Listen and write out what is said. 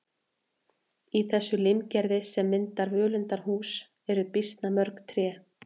Í þessu limgerði sem myndar völundarhús eru býsna mörg tré.